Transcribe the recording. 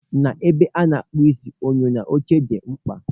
N'ebe a na-akpụ isi, enyo na oche dị mkpa